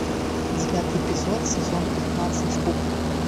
девятый эпизод сезон пятнадцать кухня